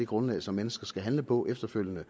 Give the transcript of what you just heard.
grundlag som mennesker skal handle på efterfølgende